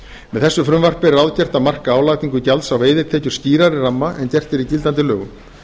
með þessu frumvarpi er ráðgert að marka álagningu gjalds á veiðitekjur skýrari ramma en gert er í gildandi lögum